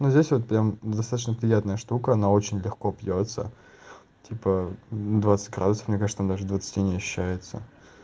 здесь вот прям достаточно приятная штука она очень легко пьётся типа двадцать градусов мне кажется что там даже двадцати не ощущается